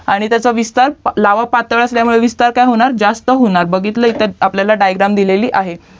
आणि त्याचा विस्तार लावा पातळ असल्यामुळे विस्तार काय होणार जास्त होणार बघितले इथे डायग्राम दिलेली आहे